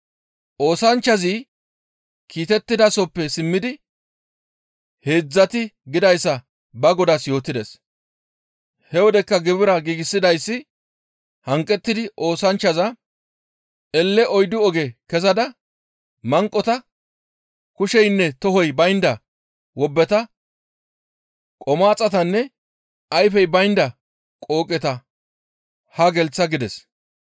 «Oosanchchazi kiitettidasoppe simmidi heedzdzati gidayssa ba godaas yootides; he wodekka gibira giigsidayssi hanqettidi oosanchchaza, ‹Elle oyddu oge kezada manqota, kusheynne tohoy baynda wobbeta, qomaaxatanne ayfey baynda qooqeta haa gelththa› gides.